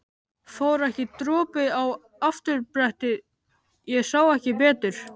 Fór ekki dropi á afturbrettið. ég sá ekki betur!